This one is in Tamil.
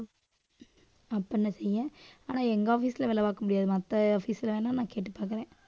அப்ப என்ன செய்ய ஆனா எங்க office ல வேலை பார்க்க முடியாது. மத்த office ல வேணா நான் கேட்டுப் பார்க்கிறேன்.